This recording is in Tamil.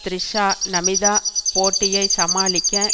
த்ரிஷா நமிதா போட்டியை சமாளிக்க